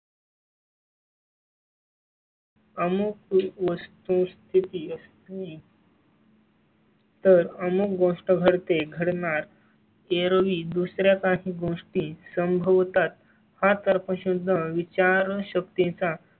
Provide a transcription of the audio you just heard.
अमुक वस्तुस्थिती असताना ही. तर अमुक गोष्ट घडते घडणार ऐरोली दुसर् या काही गोष्टी संभवतात हा तर पासून विचारशक्ती चा